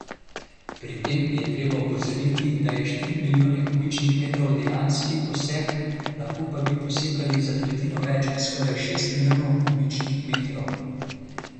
Pri tem je treba opozoriti, da je štiri milijone kubičnih metrov dejanski posek, lahko pa bi posekali za tretjino več, skoraj šest milijonov kubičnih metrov.